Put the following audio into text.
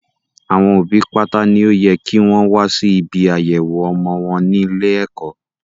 Àwọn òbí pátá ni ó yẹ kí wọn wá sí ibi àyẹ̀wọ̀ ọmọ wọn ní ilé ẹ̀kọ́